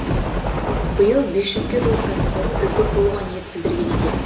биыл бес жүзге жуық кәсіпорын үздік болуға ниет білдірген екен